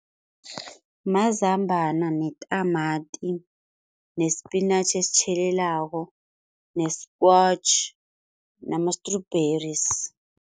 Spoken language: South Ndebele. Mazambana netamati nespinatjhi esitjhelelako ne-squash nama-strawberries.